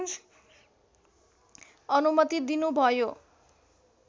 अनुमति दिनुभयो